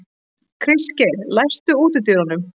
Kristgeir, læstu útidyrunum.